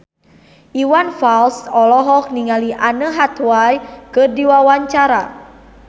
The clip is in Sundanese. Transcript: Iwan Fals olohok ningali Anne Hathaway keur diwawancara